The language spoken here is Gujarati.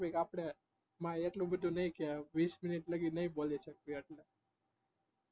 આપડે એટલું બધું ના ઈવીસ મિનેટસાઉથડે નાયેબોલિશયાકેય થાય વધારે વાત્ત નાઈ કરી શકીયે